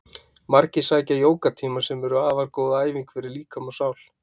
Margir sækja jógatíma sem eru afar góð æfing fyrir líkama og sál.